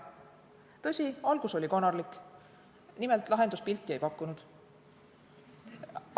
Tõsi, algus oli konarlik, nimelt, lahendus pilti ei pakkunud.